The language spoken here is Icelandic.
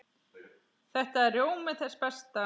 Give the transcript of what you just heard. Þetta er rjómi þess besta.